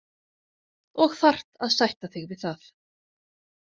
Og þarft að sætta þig við það.